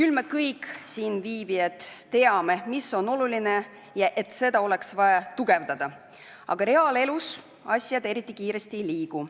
Me kõik siinviibijad teame, mis on oluline ja et seda oleks vaja tugevdada, aga reaalelus need asjad eriti kiiresti ei liigu.